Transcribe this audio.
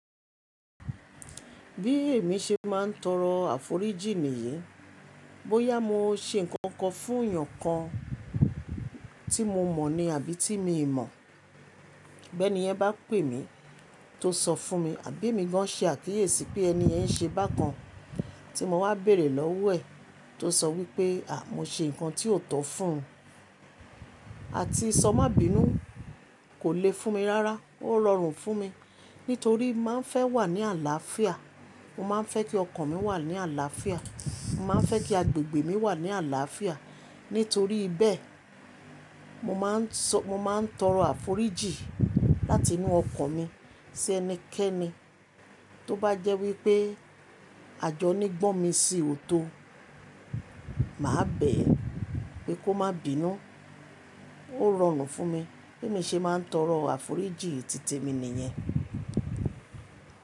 Bí èmi ṣe máà ń torọ àforíjìn nìyii, bóyá mo ṣe nǹkan kan fún èèyàn kan tí mo mọ̀ ní àbí tí mi n mọ̀, bi ènìyen bá pè mí tó sọ fún mi, àbí èmi gan ṣe àkíyèsí pé ẹni yẹn ṣe bákan tí mo wá béèrè lọ́wọ́ ẹ̀ tó sọ wípé mo ṣe nǹkan tí ò tọ́ fún un, àti sọ má bínú kò lè fún mi rárá, ó rọrùn fún mi nítorí mo máà ń fẹ́ wà ní àlàáfíà, mo máà ń fẹ́ kí ọkan mi wà ní àlàáfíà, mo máà ń fẹ́ kí agbègbè mi wà ní àlàáfíà. Nítorí beẹ̀ mo máà ń sọ, mo máà ń torọ àforíjìn láti inú ọkan mi sí ẹnikẹ́ni tó bá jẹ́ wípé àjọní gbọ̀n mi sì ò tó, mà á bẹ̀ ẹ́ pé kó má bínú, ó rọrùn fún mi. Bí èmi ṣe máà ń torọ àforíjìn títèmi nìyẹn.